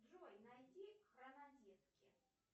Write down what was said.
джой найди хронодетки